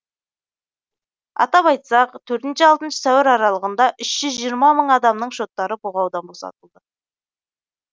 атап айтсақ төртінші алтыншы сәуір аралығында үш жүз жиырма мың адамның шоттары бұғаудан босатылды